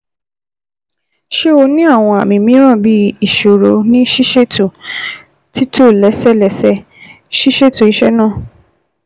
Ṣe o ni awọn àmì mìíràn bii iṣoro ní ṣíṣètò, títò lẹ́sẹẹsẹ, ṣíṣètò iṣẹ́ náà